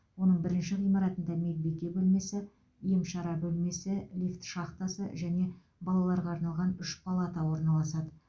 оның бірінші ғимаратында медбике бөлмесі ем шара бөлмесі лифт шахтасы және балаларға арналған үш палата орналасады